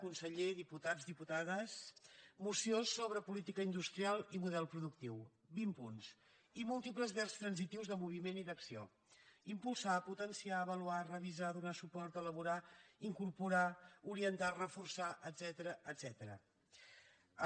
conseller diputats diputades moció sobre política industrial i model productiu vint punts i múltiples verbs transitius de moviment i d’acció impulsar potenciar avaluar revisar donar suport elaborar incorporar orientar reforçar etcètera